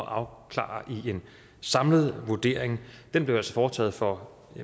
at afklare i en samlet vurdering den blev altså foretaget for